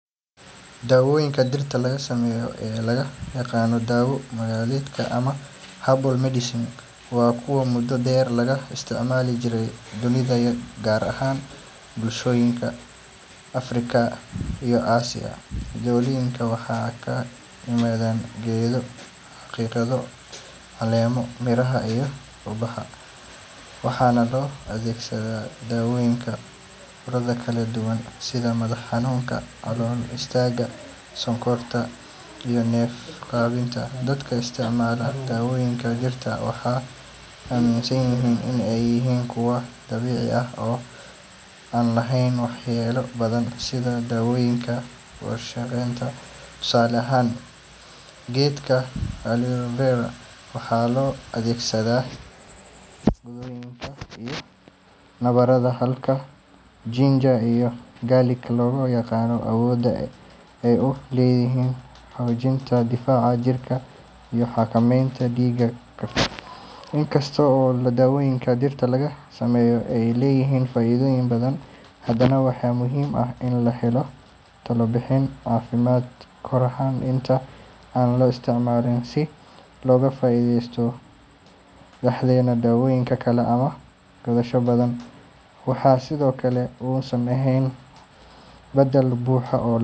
Daawooyinka dhirta laga sameeyo ee loo yaqaan daawo dhaqameedka ama herbal medicine waa kuwo muddo dheer laga isticmaali jiray dunida, gaar ahaan bulshooyinka Afrika iyo Aasiya. Daawooyinkan waxay ka yimaadaan geedo, xidido, caleemo, miraha iyo ubaxa, waxaana loo adeegsadaa daweynta cudurro kala duwan sida madax xanuunka, calool istaagga, sonkorowga, iyo neef-qabatin. Dadka isticmaala daawooyinka dhirta waxay aaminsan yihiin in ay yihiin kuwo dabiici ah oo aan lahayn waxyeelo badan sida daawooyinka warshadaysan. Tusaale ahaan, geedka aloe vera waxaa loo adeegsadaa gubashooyinka iyo nabarada, halka ginger iyo garlic lagu yaqaan awoodda ay u leeyihiin xoojinta difaaca jirka iyo xakameynta dhiig karka. In kasta oo daawooyinka dhirta laga sameeyo ay leeyihiin faa'iidooyin badan, haddana waxaa muhiim ah in la helo talo bixin caafimaad kahor inta aan la isticmaalin, si looga fogaado halis ah isdhexgalka daawooyin kale ama qaadasho khaldan. Waxaa sidoo kale muhiim ah in la ogaado in daawo dhaqameedku uusan ahayn badal buuxa.